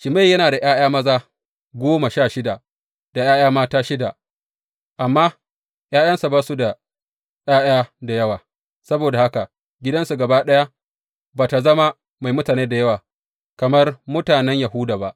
Shimeyi yana da ’ya’ya maza goma sha shida da ’ya’ya mata shida, amma ’yan’uwansa ba su da ’ya’ya da yawa; saboda haka gidansu gaba ɗaya ba tă zama mai mutane da yawa kamar mutanen Yahuda ba.